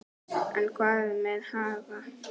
En hvað með Haga?